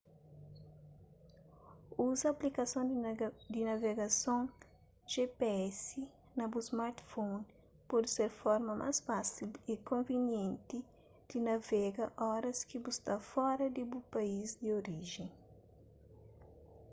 uza aplikason di navegason gps na bu smartphone pode ser forma más fásil y konvinienti di navega oras ki bu sta fora di bu país di orijen